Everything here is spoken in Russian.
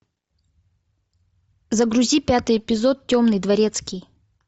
загрузи пятый эпизод темный дворецкий